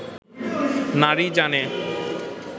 নারী জানে